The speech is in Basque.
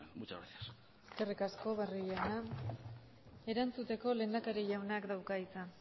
muchas gracias eskerrik asko barrio jauna erantzuteko lehendakari jaunak dauka hitza